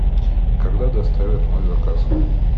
когда доставят мой заказ